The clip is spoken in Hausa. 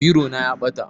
Biro na ya ɓata